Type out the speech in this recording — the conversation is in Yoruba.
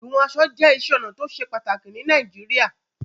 Híhún kan je isé onà to se pàtàkì ni Naijiria